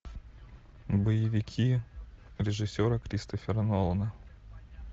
боевики режиссера кристофера нолана